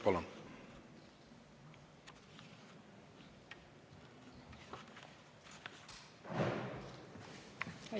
Palun!